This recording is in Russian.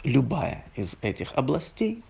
любая из этих областей